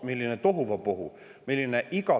Milline tohuvabohu!